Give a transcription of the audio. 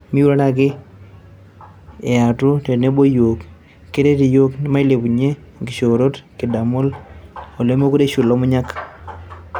miurere ake aetu tenebo ooyiok. keret iyiook mailepunye inkishoorot kidamu olemekure eishu Lomunyak